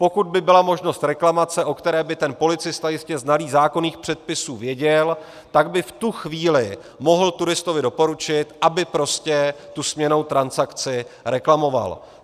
Pokud by byla možnost reklamace, o které by ten policista jistě znalý zákonných předpisů věděl, tak by v tu chvíli mohl turistovi doporučit, aby prostě tu směnnou transakci reklamoval.